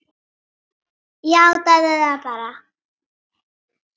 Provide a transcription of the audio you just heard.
Játaðu það bara!